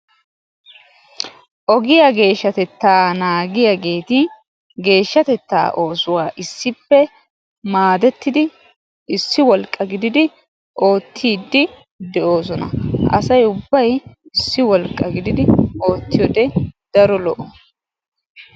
ogiyaa geeshshatettaa naagiyaageeti geeshshatettaa issippe maadettidi issi wolqqa gididi ootiidi de'oosona, asay ubbay issi wolqqa giddidi oottiyoode daro lo"o.